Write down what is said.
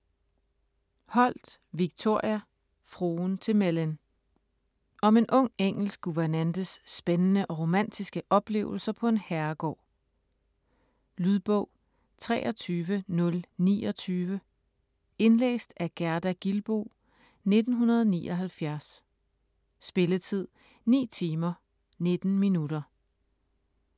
Holt, Victoria: Fruen til Mellyn Om en ung engelsk guvernantes spændende og romantiske oplevelser på en herregård. Lydbog 23029 Indlæst af Gerda Gilboe, 1979. Spilletid: 9 timer, 19 minutter.